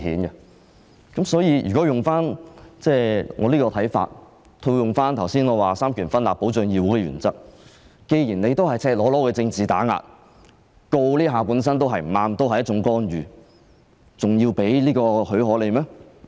按我這種看法，再套用我剛才說三權分立、保障議會的原則，既然這是赤裸裸的政治打壓，檢控本身已是不正確，是一種干預，我們還要給予許可嗎？